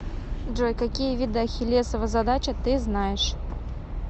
джой какие виды ахиллесова задача ты знаешь